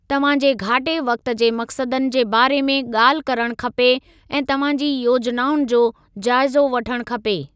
तव्हांजे घाटे वक़्ति जे मक़्सदनि जे बारे में ॻाल्हि करणु खपे ऐं तव्हांजी योजनाउनि जो जाइज़ो वठणु खपे।